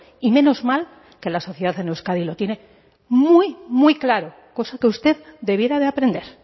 y menos mal que la sociedad en euskadi lo tiene muy muy claro cosa que usted debiera de aprender